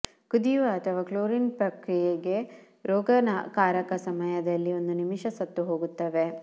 ಕುದಿಯುವ ಅಥವಾ ಕ್ಲೋರೀನ್ ಪ್ರಕ್ರಿಯೆಗೆ ರೋಗಕಾರಕ ಸಮಯದಲ್ಲಿ ಒಂದು ನಿಮಿಷ ಸತ್ತು ಹೋಗುತ್ತವೆ